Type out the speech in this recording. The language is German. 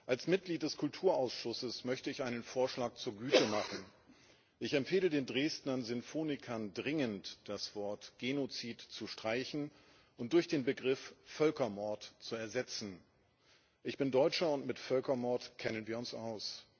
Als Mitglied des Kulturausschusses möchte ich einen Vorschlag zur Güte machen Ich empfehle den Dresdner Sinfonikern dringend, das Wort Genozid zu streichen und durch den Begriff Völkermord zu ersetzen. Ich bin Deutscher, und mit Völkermord kennen wir uns aus.